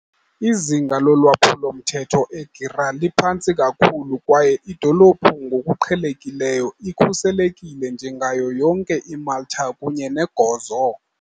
Izinga lolwaphulo-mthetho eGżira liphantsi kakhulu kwaye idolophu ngokuqhelekileyo ikhuselekile njengayo yonke iMalta kunye neGozo.